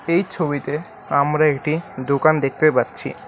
এই ছবিতে আমরা একটি দোকান দেখতে পাচ্ছি।